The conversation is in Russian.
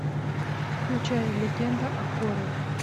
включай легенда о корре